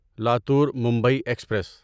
Latur Mumbai express